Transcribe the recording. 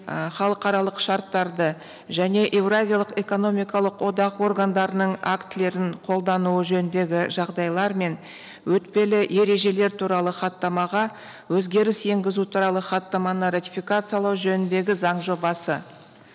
і халықаралық шарттарды және еуразиялық экономикалық одақ органдарының актілерін қолдануы жөніндегі жағдайлар мен өтпелі ережелер туралы хаттамаға өзгеріс енгізу туралы хаттаманы ратификациялау жөніндегі заң жобасы